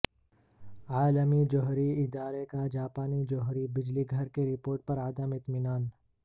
عالمی جوہری ادارے کا جاپانی جوہری بجلی گھر کی رپورٹ پر عدم اطمینان